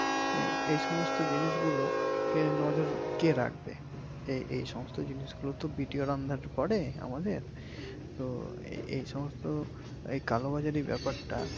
এই সমস্ত জিনিস গুলো কে নজর কে রাখবে। এই সমস্ত জিনিস গুলোতো বিটিওর under এ পরে আমাদের তো এই সমস্ত কালোবাজারি ব্যাপারটা